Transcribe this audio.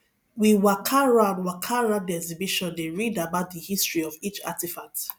we waka round waka round di exhibition dey read about di history of each artifact